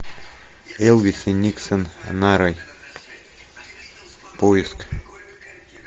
элвис и никсон нарой поиск